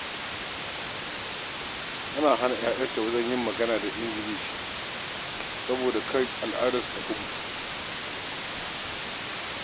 Tana hana 'ya'yanta yin magana da Ingilishi saboda kada Hausa ta kufce daga bakinsu.